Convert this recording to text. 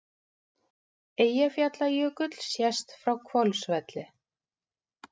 Eyjafjallajökull sést frá Hvolsvelli.